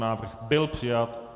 návrh byl přijat.